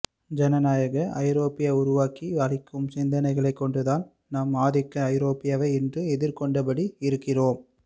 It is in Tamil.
ஜனநாயக ஐரோப்பா உருவாக்கி அளிக்கும் சிந்தனைகளைக் கொண்டுதான் நாம் ஆதிக்க ஐரோப்பாவை இன்றும் எதிர்கொண்டபடி இருக்கிறோம்